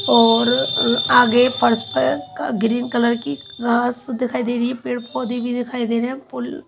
और अह आगे फर्श पर का ग्रीन कलर की घास दिखाई दे रही है पेड़ पौधे भी दिखाई रहे है पुल--